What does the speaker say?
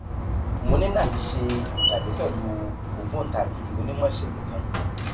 mo ní láti ṣe ìpàdé pẹlú ògbóǹtagì onímọ ìṣègùn kan